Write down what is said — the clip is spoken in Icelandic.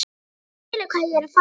Þú skilur hvað ég er að fara.